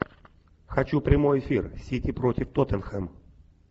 хочу прямой эфир сити против тоттенхэм